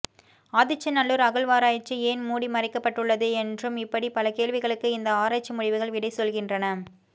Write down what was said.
ஆதிச்ச நல்லூர் அகழ்வாராய்ச்சி ஏன் மூடி மறைக்கப்பட்டுள்ளது என்றும் இப்படி பல கேள்விகளுக்கு இந்த ஆராய்ச்சி முடிவுகள் விடை சொல்கின்றன